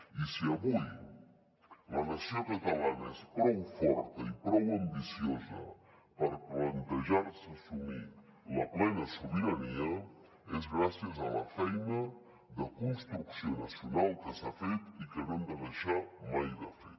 i si avui la nació catalana és prou forta i prou ambiciosa per plantejar se assumir la plena sobirania és gràcies a la feina de construcció nacional que s’ha fet i que no hem de deixar mai de fer